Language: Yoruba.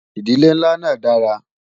ìdílé nlá nà dára